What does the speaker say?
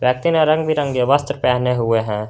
व्यक्ति ने रंग बिरंगे वस्त्र पहने हुए है।